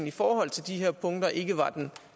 i forhold til de her punkter ikke var den